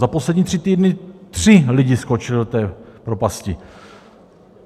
Za poslední tři týdny tři lidi skočili do té propasti.